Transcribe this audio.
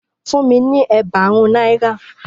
Fún mi ni ẹẹgbarun naira.